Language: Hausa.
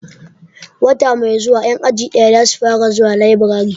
Wata mai zuwa 'yan aji daya za su fara zuwa laburare.